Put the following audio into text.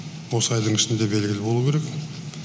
осы айдың ішінде белгілі болуы керек